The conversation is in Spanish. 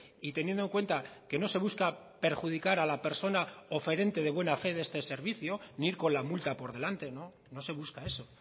y teniendo en cuenta que no se busca perjudicar a la persona oferente de buena fe de este servicio ni ir con la multa por delante no se busca eso